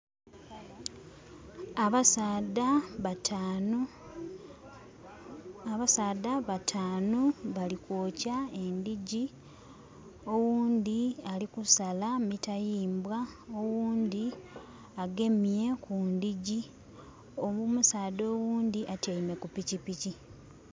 Abasaadha bataanu. Abasaadha bataanu bali kwokya endhigyi. Oghundhi ali kusala mitayimbwa, oghundhi agemye kundhigyi. Omusaadha oghundhi atyaime ku pikipiki.